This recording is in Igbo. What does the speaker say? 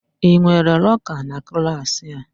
Ị nwere lọka na klaasị a?